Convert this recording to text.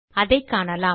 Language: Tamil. அதைக் காணலாம்